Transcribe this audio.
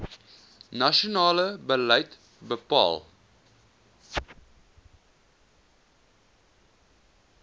nasionale beleid bepaal